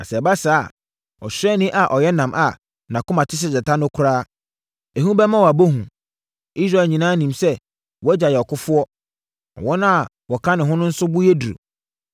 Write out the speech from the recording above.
Na sɛ ɛba saa a, ɔsraani a ɔyɛ nnam a nʼakoma te sɛ gyata no koraa, ehu bɛma wabɔ hu. Na Israel nyinaa nim sɛ wʼagya yɛ ɔkofoɔ, na wɔn a wɔka ne ho no nso bo yɛ duru.